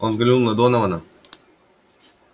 он взглянул на донована